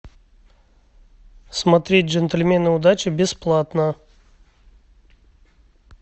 смотреть джентльмены удачи бесплатно